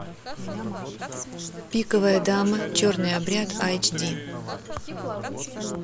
пиковая дама черный обряд айч ди